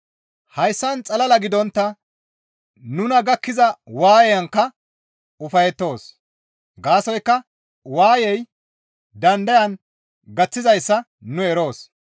Hayssan xalala gidontta nuna gakkiza waayenkka ufayettoos. Gaasoykka waayey dandayan gaththizayssa nu eroos.